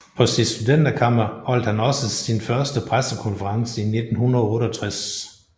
På sit studenterkammer holdt han også sin første pressekonference i 1968